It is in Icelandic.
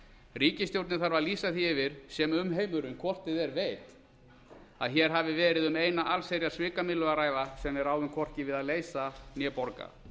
ríkisstjórnin þarf að lýsa því yfir sem umheimurinn hvort eð er veit að hér hafi verið um eina allsherjar svikamyllu að ræða sem við ráðum hvorki við að leysa né borga